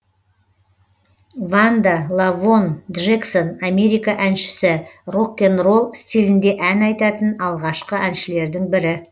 ванда лавонн джексон америка әншісі рок н ролл стилінде ән айтатын алғашқы әншілердің бірі